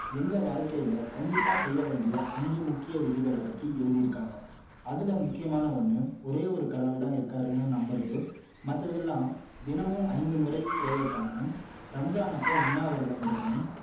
எங்க வாழ்கையில கண்டிப்பா செய்ய வேண்டிய அஞ்சு முக்கிய விதிகள பத்தி எழுதி இருக்காங்க அதுல முக்கியமான ஒன்னு ஒரே ஒரு கடவுள் தான் இருக்கிறாருன்னு நம்புறது மத்ததெல்லாம் தினமும் ஐந்து முறை prayer பண்ணநும் ரம்ஜான் அப்போ உண்ணாவிரதம் இருக்கணும்